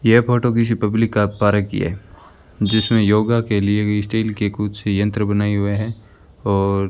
यह फोटो किसी पब्लिक का पार्क की है जिसमें योगा के लिए भी स्टील के कुछ यंत्र बनाए हुए हैं और --